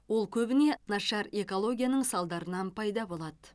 ол көбіне нашар экологияның салдарынан пайда болады